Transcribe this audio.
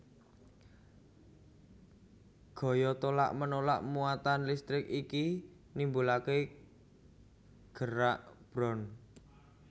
Gaya tolak menolak muatan listrik iki nimbulake gerak brown